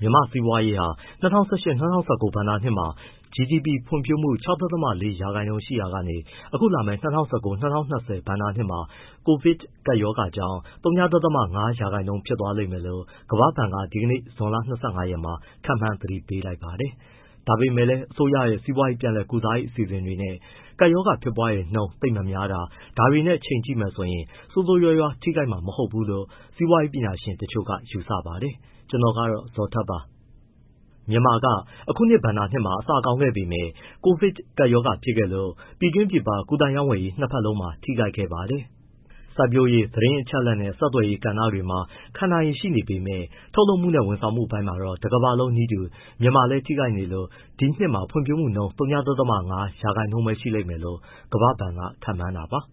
မြန်မာ့စီးပွားရေးဟာ ၂၀၁၈-၁၉ ဘဏ္ဍာနှစ်မှာ GDP ဖွံ့ဖြိုးမှု ၆.၄ ရာခိုင်နှုန်းရှိရာကနေ အခုလာမယ့် ၂၀၁၉-၂၀၂၀ ဘဏ္ဍာနှစ်မှာ COVID ကပ်ရောဂါကြောင့် ဝ.၅ ရာခိုင်နှုန်း ဖြစ်သွားလိမ့်မယ်လို့ ကမ္ဘာ့ဘဏ်က ဒီကနေ့ ဇွန်လ ၂၅ ရက်မှာ ခန့်မှန်းသတိပေးပါတယ်။ ဒါပေမဲ့လည်း အစိုးရရဲ့ စီးပွားရေး ပြန်ကုစားရေးအစီအစဉ်တွေနဲ့ ကပ်ရောဂါဖြစ်ပွားနှုန်း သိပ်မများတာ၊ ဒါတွေနဲ့ ချိန်ကြည့်မယ်ဆိုရင် ဆိုးဆိုးရွားရွား ထိခိုက်မှာ မဟုတ်ဘူးလို့ စီးပွားရေးပညာရှင်တချို့က ယူဆပါတယ်။ ဗွီအိုအေမြန်မာပိုင်းသတင်းထောက် ကိုဇော်ထက်က သတင်းပေးပို့ထားပါတယ်။ မြန်မာက အခုဘဏ္ဍာနှစ်မှာ အစကောင်းခဲ့ပေမဲ့ COVID ကပ်ရောဂါဖြစ်ခဲ့လို့ ပြည်တွင်း၊ ပြည်ပ ကူးသန်းရောင်းဝယ်မှု နှစ်ဘက်လုံးမှာ ထိခိုက်ခဲ့ပါတယ်။ စိုက်ပျိုးရေး၊ သတင်းအချက်အလက်နဲ့ ဆက်သွယ်ရေး ကဏ္ဍတွေမှာ ခံနိုင်ရည် ရှိနေသေးပေမဲ့ ထုတ်လုပ်မှုနဲ့ ဝန်ဆောင်မှုအပိုင်းမှာတော့ တကမ္ဘာလုံးနည်းတူ မြန်မာလည်း ထိခိုက်နေလို့ ဒီနှစ်မှာ ဖွံ့ဖြိုးမှုနှုန်း ဝ.၅ ရာခိုင်နှုန်းပဲ ရှိလိမ့်မယ်လို့ ကမ္ဘာ့ဘဏ်က ခန့်မှန်းတာပါ။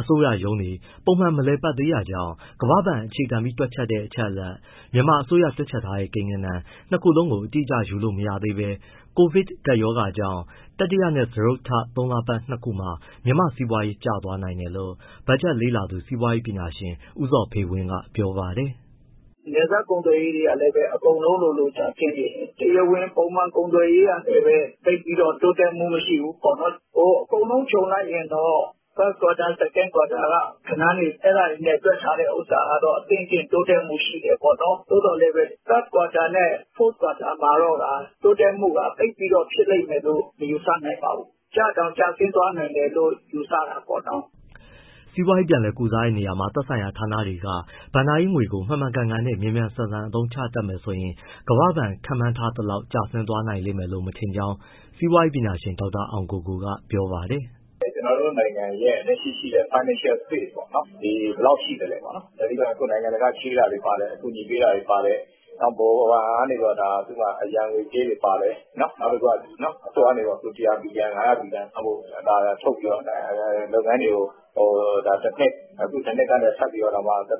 အစိုးရရုံးတွေ ပုံမှန် မလည်ပတ်သေးတာကြောင့် ကမ္ဘာ့ဘဏ် အခြေခံပြီး တွက်ချက်တဲ့ အချက်အလက်၊ မြန်မာအစိုးရ တွက်ချက်ထားတဲ့ ကိန်းဂဏန်း နှစ်ခုလုံးကို အတိအကျ ယူလို့မရသေးပေမဲ့ COVID ကြောင့် တတိယနဲ့ စတုတ္ထ ဒီသုံးလပတ် ၂ ခုမှာ မြန်မာ့စီးပွားရေး ကျသွားနိုင်တယ်လို့ ဘက်ဂျက်လေ့လာသူ စီးပွားရေးပညာရှင် ဦးဇော်ဖေဝင်းက ပြောပါတယ်။ “နယ်စပ်ကုန်သွယ်ရေးကလည်း အကုန်လုံးလိုလို ကျဆင်းနေတယ်၊ တရားဝင်ပုံမှန် ကုန်သွယ်ရေးကလည်းပဲ သိပ်ပြီးတော့ တိုးတက်မှု မရှိဘူးပေါ့နော်။ အကုန်လုံးခြုံလိုက်ရင်တော့ 1st quarter ၊ 2nd quarter က ဂဏန်းတွေ အဲဒါတွေနဲ့ တွက်ထားတဲ့ဟာကတော့ အသင့်အတင့် တိုးတက်မှု ရှိတယ်ပေါ့နော်။ သို့သော်လည်းပဲ 3rd quarter နဲ့ 4th quarter မှာကတော့ တိုးတက်မှုက သိပ်ပြီးတော့ ဖြစ်လိမ့်မယ်လို့ မယူဆနိုင်ပါဘူး။ ကျတောင် ကျဆင်းသွားနိုင်တယ်လို့ ယူဆတာပေါ့နော်။” စီးပွားရေး ပြန်လည်ကုစားတဲ့နေရာမှာ သက်ဆိုင်ရာဌာနတွေက ဘဏ္ဍာရေးငွေကို မှန်မှန်ကန်ကန်နဲ့ မြန်မြန်ဆန်ဆန် အသုံးချမယ်ဆိုရင် ကမ္ဘာ့ဘဏ် ခန့်မှန်းထားသလောက်ထိ ကျဆင်းသွားနိုင်မယ်လို့ မထင်ကြောင်း စီးပွားရေးပညာရှင် ဒေါက်တာအောင်ကိုကိုက ပြောပါတယ်။ “ကျနော်တို့နိုင်ငံရဲ့ လက်ရှိ ရှိနေတဲ့ financial space ပေါ့နော် ဘယ်လောက်ရှိသလဲပေါ့။ တနည်းပြောရရင် နိုင်ငံတကာက ချေးတာတွေ ပါတယ်၊ အကူအညီပေးတာတွေ ပါတယ်။ ဗဟိုဘဏ်က အရန်ငွေကြေးတွေပါတယ်။ နောက်တခုက အစိုးရကနေ ၅၀၀ ဘီလီယံထုတ်ပြီး လုပ်ငန်းတွေကို တနှစ်၊ အဲဒီတနှစ်ကနေ ထပ်ပြီး သက်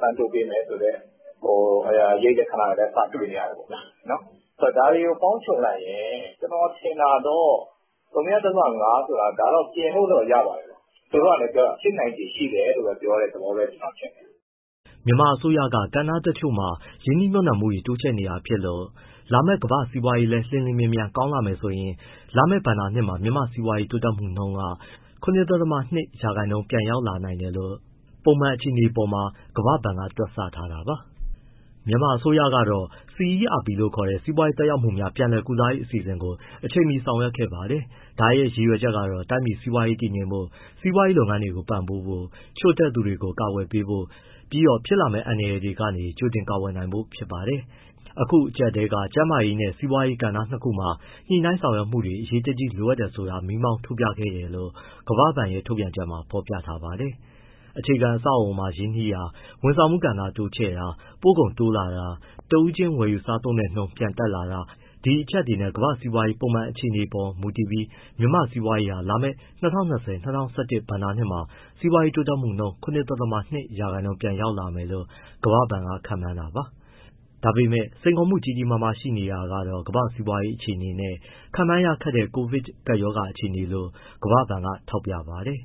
တမ်းတိုးပေးမယ်ဆိုတဲ့ အရိပ်လက္ခဏာတွေလည်း စတွေ့နေရတယ်ပေါ့။ ဒါတွေကို ပေါင်းခြုံလိုက်ရင် ကျနော်ထင်တာတော့ ဝ.၅ ဆိုတာ ဒါ ပြင်လို့တော့ ရပါတယ်။ သူတို့ ကလည်းပြောတာ ဖြစ်နိုင်ခြေရှိတယ်လို့ပဲ ပြောတဲ့သဘောလို့ ကျနော်ထင်တယ်။” မြန်မာအစိုးရက ကဏ္ဍတချို့မှာ ရင်းနှီးမြှုပ်နှံမှုတွေ တိုးချဲ့နေတာဖြစ်လို့ လာမယ့် ကမ္ဘာ့စီးပွားရေးလည်း အလျင်အမြန်ပြန်ကောင်းလာမယ်ဆိုရင် လာမယ့်ဘဏ္ဍာနှစ်မှာ မြန်မာ့စီးပွားရေးတိုးတက်မှုက ၇.၂ ရာခိုင်နှုန်း အထိ ပြန်ရောက်လာနိုင်တယ်လို့ ပုံမှန်အခြေအနေအပေါ်မှာကမ္ဘာဘဏ်ကတော့ တွက်ဆထားပါတယ်။ မြန်မာအစိုးရကတော့ CERP လို့ခေါ်တဲ့ စီးပွားရေး သက်ရောက်မှုများ ပြန်လည်ကုစားရေး အစီအစဉ်ကို အချိန်မီ ဆောင်ရွက်ခဲ့ပါတယ်။ ဒါရဲ့ ရည်ရွယ်ချက်ကတော့ တိုင်းပြည်စီးပွားရေး တည်ငြိမ်ဖို့၊ စီးပွားရေးလုပ်ငန်းတွေကို ပံ့ပိုးဖို့၊ ချို့တဲ့သူတွေကို အကာအကွယ်ပေးဖို့၊ ပြီးတော့ ဖြစ်လာနဲ့ အန္တရာယ်တွေကနေ ကြိုတင်ကာကွယ်နိုင်ဖို့ ဖြစ်ပါတယ်။ အခုအကျပ်အတည်းက ကျန်းမာရေးနဲ့ စီးပွားရေး ဒီကဏ္ဍနှစ်ခုမှာ ညှိနှိုင်းဆောင်ရွက်မှုတွေ အရေးတကြီးလိုအပ်တယ်ဆိုတာကို မီးမောင်းထိုးပြခဲ့တယ်လို့ ကမ္ဘာ့ဘဏ်ရဲ့ ထုတ်ပြန်ချက်မှာ ဖော်ပြထားပါတယ်။ အခြေခံအဆောက်အအုံမှာ ရင်းနှီးတာ၊ ဝန်ဆောင်မှုကဏ္ဍ တိုးချဲ့တာ၊ ပို့ကုန်တိုးလာတာ၊ တဦးချင်း ဝယ်ယူစားသုံးတဲ့နှုန်း ပြန်တက်လာတာ ဒီအချက်တွေနဲ့ ကမ္ဘာစီးပွားရေးပုံမှန်အခြေအနေအပေါ် မူတည်ပြီး မြန်မာ့စီးပွားရေးဟာ လာမယ့် ၂၀၂၀-၂၀၂၁ ဘဏ္ဍာနှစ်မှာ စီးပွားရေးတိုးတက်မှု ၇.၂ ရာခိုင်နှုန်းကို ပြန်ရောက်လာမယ်လို့ ကမ္ဘာ့ဘဏ်က ခန့်မှန်းတာပါ။ ဒါပေမဲ့ စိန်ခေါ်မှု ကြီးကြီးရှိနေတာကတော့ ကမ္ဘာ့စီးပွားရေး အခြေအနေနဲ့ ခန့်မှန်းရခက်တဲ့ COVID ကပ်ရောဂါ အခြေအနေလို့ ကမ္ဘာ့ဘဏ်က ထောက်ပြပါတယ်